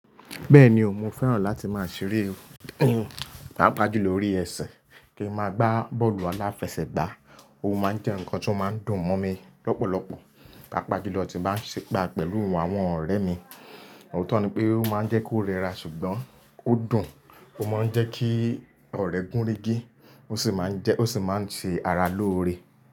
Bẹ́ẹ̀ni o, mo fẹ́ràn láti máa ṣeré, pàápàá jù lórí ẹ̀sẹ̀ kí n máa gbá bọ́ọ̀lù aláfẹsẹ̀gbá. Ó máa ń jẹ́ ǹkan tó máa ń dùn mọ́ mi lọ́pọ̀lọpọ̀, pàápàá jù lọ tí bá ń ṣe gbà pẹ̀lú àwọn ọ̀rẹ́ mi. Òótọ́ ni pé ó máa ń jẹ́ kó rẹra ṣùgbọ́n ó dùn. Ó máa ń jẹ́ kí ọ̀rẹ́ gúnregí ó sì máa ń jẹ́, ó sì máa ń ṣe ara lóore.